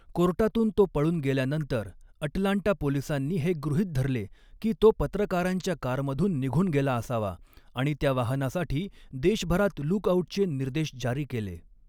कोर्टातून तो पळून गेल्यानंतर अटलांटा पोलिसांनी हे गृहीत धरले की तो पत्रकारांच्या कारमधून निघून गेला असावा आणि त्या वाहनासाठी देशभरात लूक आउटचे निर्देश जारी केले.